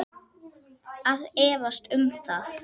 Ég efast um það.